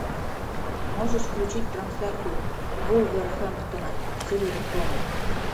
можешь включить трансляцию вулверхэмптона с эвертоном